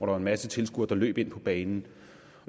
var en masse tilskuere der løb ind på banen